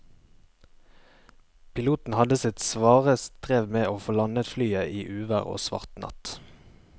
Piloten hadde sitt svare strev med å få landet flyet i uvær og svart natt.